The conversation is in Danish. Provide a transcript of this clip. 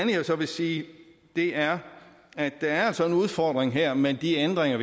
jeg så vil sige er at der altså er en udfordring her med de ændringer af